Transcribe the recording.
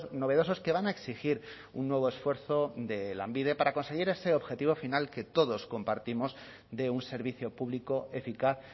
novedosos que van a exigir un nuevo esfuerzo de lanbide para conseguir ese objetivo final que todos compartimos de un servicio público eficaz